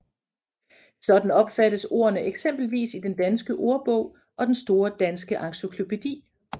Sådan opfattes ordene eksempelvis i Den Danske Ordbog og Den Store Danske Encyklopædi